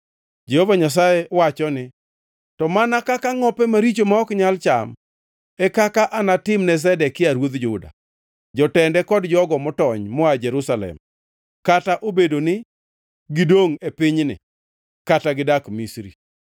“Jehova Nyasaye wacho ni, ‘To mana kaka ngʼope maricho, ma ok nyal cham, e kaka anatimne Zedekia ruodh Juda, jotende kod jogo motony moa Jerusalem, kata obedo ni gidongʼ e pinyni kata gidak Misri.